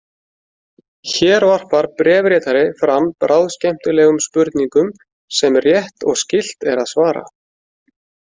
Hér varpar bréfritari fram bráðskemmtilegum spurningum sem rétt og skylt er að svara.